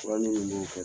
Fura minnu b'o kɛ